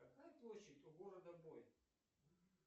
какая площадь у города бой